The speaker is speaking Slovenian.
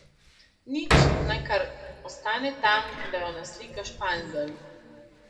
Nič, naj kar ostane tam, da jo naslika Španzel.